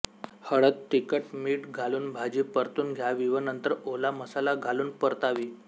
हळद तिखट मीठ घालून भाजी परतून घ्यावी व नंतर ओला मसाला घालून परतावी